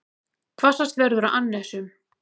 Hvassast verður á annesjum